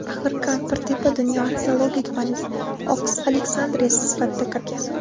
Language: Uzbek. Axir Kampirtepa dunyo arxeologik faniga Oks Aleksandriyasi sifatida kirgan.